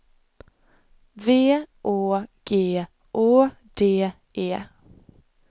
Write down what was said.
V Å G A D E